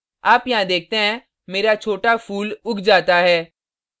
आप यहाँ देखते हैं मेरा छोटा फूल उग जाता है